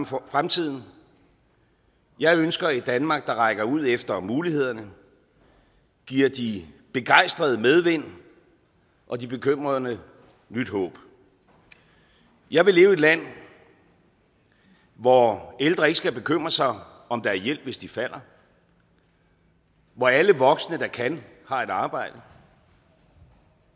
forme fremtiden jeg ønsker et danmark der rækker ud efter mulighederne giver de begejstrede medvind og de bekymrede nyt håb jeg vil leve i et land hvor ældre ikke skal bekymre sig om om der er hjælp hvis de falder hvor alle voksne der kan har et arbejde